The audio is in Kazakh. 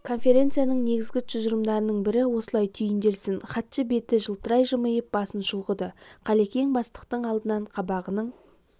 конференцияның негізгі тұжырымдарының бір осылай түйінделсін хатшы беті жылтырай жымиып басын шұлғыды қалекең бастықтың алдынан қабағының